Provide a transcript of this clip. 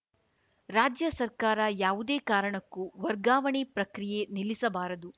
ರಾಜ್ಯ ಸರ್ಕಾರ ಯಾವುದೇ ಕಾರಣಕ್ಕೂ ವರ್ಗಾವಣೆ ಪ್ರಕ್ರಿಯೆ ನಿಲ್ಲಿಸಬಾರದು